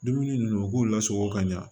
Dumuni nunnu u k'u lasɔrɔ ka ɲa